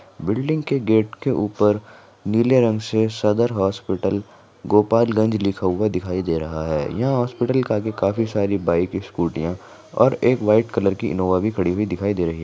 Building के gate के ऊपर नीले रंग से सदर हॉस्पिटल गोपाल गंज लिखा हुआ दिखाई दे रहा हे यहाँ हॉस्पिटल के आगे काफी सारी बाइक स्कूटिया और एक वाइट कलर की इनोवा भी खड़ी हुई दिखाई दे रही हे।